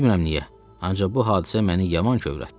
Bilmirəm niyə, ancaq bu hadisə məni yaman kövrəltdi.